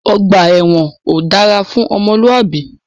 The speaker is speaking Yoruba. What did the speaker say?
Ọgbà ẹwọn ò dára fún ọmọlúàbí.